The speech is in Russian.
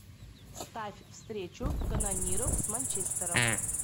ставь встречу канониров с манчестером